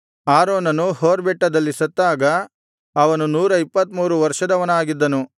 ಆರೋನನು ಹೋರ್ ಬೆಟ್ಟದಲ್ಲಿ ಸತ್ತಾಗ ಅವನು ನೂರ ಇಪ್ಪತ್ತಮೂರು ವರ್ಷದವನಾಗಿದ್ದನು